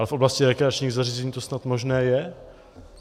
Ale v oblasti rekreačních zařízení to snad možné je.